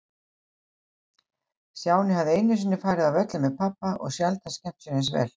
Stjáni hafði einu sinni farið á völlinn með pabba og sjaldan skemmt sér eins vel.